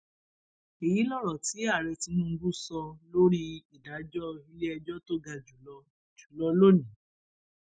èyí lọrọ tí ààrẹ tinubu sọ lórí ìdájọ iléẹjọ tó ga jù lọ lọni